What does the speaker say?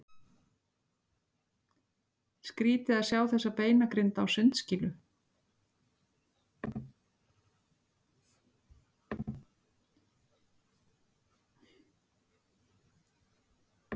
Skrýtið að sjá þessa beinagrind á sundskýlu!